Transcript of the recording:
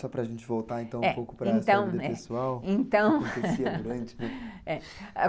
Só para a gente voltar então um pouco para essa vida pessoal.